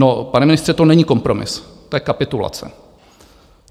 No, pane ministře, to není kompromis, to je kapitulace.